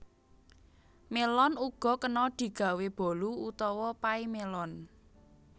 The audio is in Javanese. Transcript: Mélon uga kena digawé bolu utawa pay mélon